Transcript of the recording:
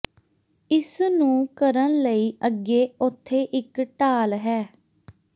ਇਸ ਨੂੰ ਕਰਨ ਲਈ ਅੱਗੇ ਉੱਥੇ ਇੱਕ ਢਾਲ ਹੈ